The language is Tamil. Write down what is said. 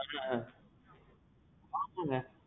ஆ. மாத்துங்க.